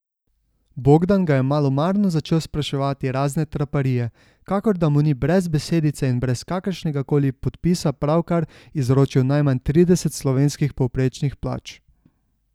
Bogdan ga je malomarno začel spraševati razne traparije, kakor da mu ni brez besedice in brez kakršnega koli podpisa pravkar izročil najmanj trideset slovenskih povprečnih plač.